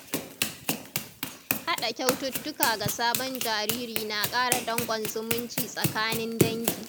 Haɗa kyaututtuka ga sabon jariri na ƙara dankon zumunci tsakanin dangi.